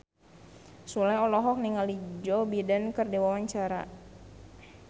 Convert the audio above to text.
Sule olohok ningali Joe Biden keur diwawancara